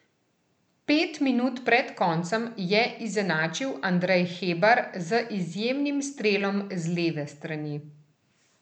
Pet minut pred koncem je izenačil Andrej Hebar z izjemnim strelom z leve strani.